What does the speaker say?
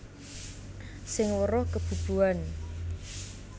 Sing weruh kebubuhan